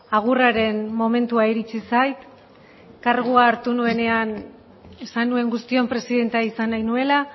agurraren momentua iritsi zait kargua hartu nuenean esan nuen guztion presidentea izan nahi nuela